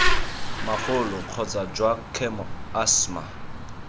magolo kgotsa jwa khemo asthma